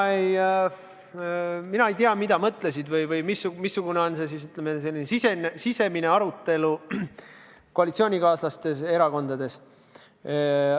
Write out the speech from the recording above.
Mina ei tea, mida on mõelnud või milline on olnud sisemine arutelu koalitsioonikaaslaste erakondades.